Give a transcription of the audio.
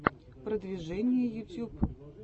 продвижение ютьюб